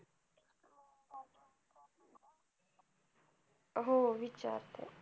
हो विचारते.